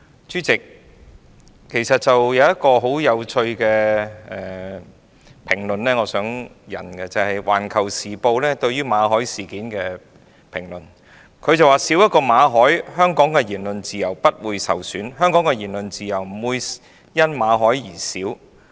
主席，我想引述一項很有趣的評論，就是《環球時報》對馬凱事件的評論，它表示"少一個馬凱，香港的言論自由不會受損"，即香港的言論自由不會因為馬凱而減少。